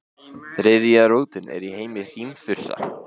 Þriðja rótin er í heimi hrímþursa.